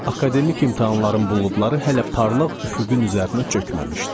Akademik imtahanlarım buludları hələ parlaq üfüqün üzərinə çökməmişdi.